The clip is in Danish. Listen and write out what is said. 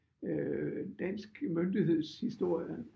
Øh dansk myndigheds historie